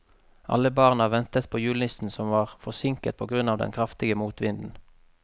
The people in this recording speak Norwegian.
Alle barna ventet på julenissen, som var forsinket på grunn av den kraftige motvinden.